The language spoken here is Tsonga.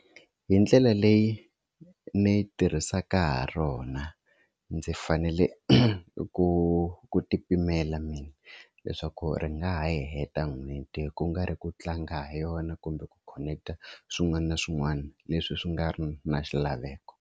Hi ndlela leyi ni yi tirhisaka ha rona ndzi fanele ku ku ti pimela mina leswaku ri nga ha heta n'hweti ku nga ri ku tlanga ha yona kumbe ku khoneketa swin'wana na swin'wana leswi swi nga ri na xilaveko.